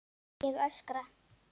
Ég öskra.